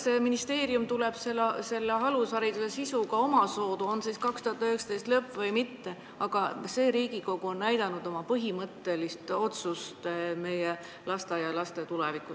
Las ministeerium tuleb välja alushariduse sisu käsitleva eelnõuga, olgu siis 2019. aasta lõpus või mitte, aga see Riigikogu koosseis on näidanud oma põhimõttelist otsust, milline võiks olla meie lasteaialaste tulevik.